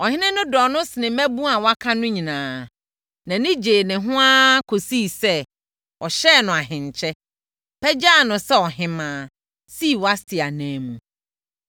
ɔhene no dɔɔ no senee mmaabunu a wɔaka no nyinaa. Nʼani gyee ne ho ara kɔsii sɛ, ɔhyɛɛ no ahenkyɛ, pagyaa no sɛ ɔhemmaa, sii Wasti ananmu.